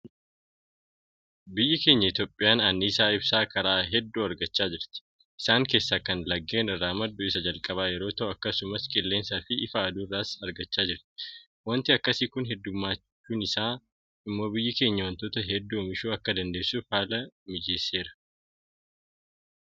Biyyi keenya Itoophiyaan anniisaa ibsaa karaa hedduu argachaa jirti. Isaan keessaa kan laggeen irraa maddu isa jalqabaa yeroo ta'u; akkasumas qilleensaafi ifa aduu irraas argachaa jirra. Waanti akkasii kun heddummachuun isaa immoo biyyi keenya waantota hedduu oomishuu akka dandeessuuf haala mijeesseera.